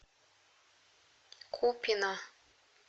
купино